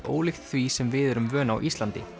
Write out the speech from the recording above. ólíkt því sem við erum vön á Íslandi